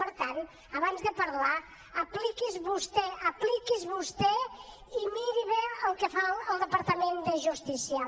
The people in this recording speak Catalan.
per tant abans de parlar apliqui’s vostè apliqui’s vostè i miri bé el que fa el departament de justícia